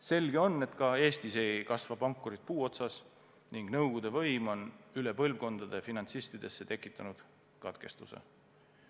Selge on, et ka Eestis ei kasva pankurid puu otsas ning nõukogude võim on üle põlvkondade finantsistidesse tekitanud katkestuse.